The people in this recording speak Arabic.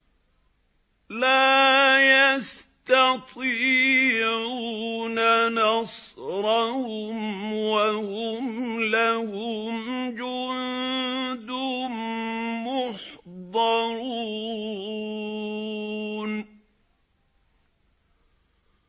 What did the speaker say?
لَا يَسْتَطِيعُونَ نَصْرَهُمْ وَهُمْ لَهُمْ جُندٌ مُّحْضَرُونَ